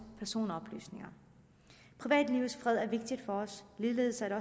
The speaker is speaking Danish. personoplysninger privatlivets fred er vigtig for os og ligeledes er det